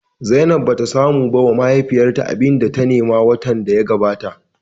Zainab bata samu ba wa mahaifiyarta abinda ta nema a watan da ya gabata ba